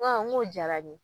N ko an o diyara n ɲe.